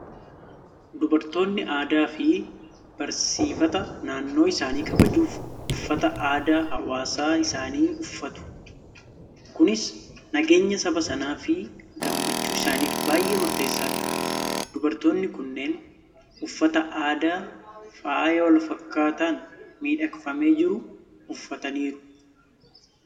Dubartoonni aadaa fi barsiifata naannoo isaanii kabajuuf uffata aadaa hawaasa isaanii uffatu. Kunis nageenya saba sanaa fi gammachuu isaaniif baay'ee murteessaadha. Dubartoonni kunneen uffata aadaa faaya wal fakkaataan miidhagfamee jiru uffataniiru.